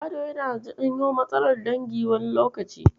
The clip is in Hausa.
Gado yana janyo matsalar dangi wani lokacin.